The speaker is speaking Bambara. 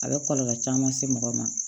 A bɛ kɔlɔlɔ caman se mɔgɔ ma